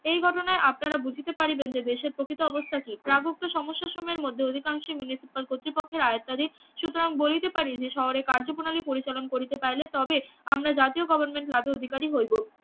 এই ঘটনায় আপনারা বুঝিতে পারিবেন যে দেশের প্রকৃত অবস্থা কি প্রাগপ্ত সমস্যা সময়ের মধ্যে অধিকাংশই মিলিত তার কর্তৃপক্ষের আওত্বাধিন সুতরাং বলিতে পারেন যে শহরে কার্যপ্রণালীর পরিচালন করিতে চাহিলে তবে আমরা জাতীয় গভর্নমেন্ট লাভে অধিকারি হইব